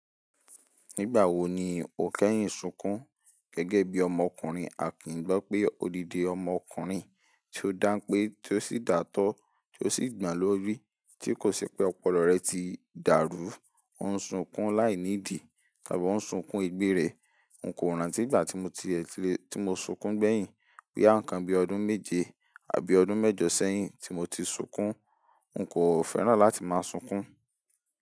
Nígbà wo ni o kẹ́yìn sunkún gẹ́gẹ́ bí ọmọkùnrin àkìngbọ̀ pé odidi ọmọkùnrin tí ó dáń pé tí ó sì datọ́ tí ó sì gbà lórí tí kò ṣe pé ọpọlọ rẹ ti dàrú, ò ń sunkún láìnídi tàbí ò ń sunkún egbe rẹ̀. N kò rántí ìgbà tí mo ti ẹ ti lè, tí mo sunkún gbẹ́yìn boya ǹkan bí ọdún méje àbí ọdún mẹ́jọ sẹ́yìn tí mo ti sunkún. N kò fẹ́ràn láti máa sunkún.